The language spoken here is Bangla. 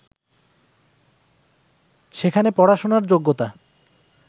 সেখানে পড়াশোনার যোগ্যতা